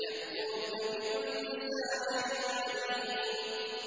يَأْتُوكَ بِكُلِّ سَاحِرٍ عَلِيمٍ